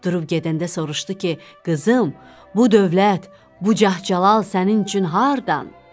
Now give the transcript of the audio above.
Durub gedəndə soruşdu ki: Qızım, bu dövlət, bu cah-cəlal sənin üçün hardan?